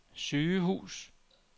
sygehus